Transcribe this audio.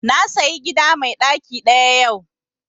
Na sayi gida mai ɗaki ɗaya yau